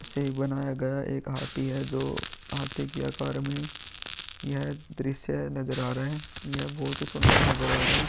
से बनाया गया। एक हाथी है जो हाथी के आकार में यह दृश्य नजर आ रहा है। यह बहोत सुन्दर नजर आ रहा है।